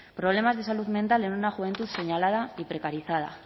problemas de salud mental en una juventud señalada y precarizada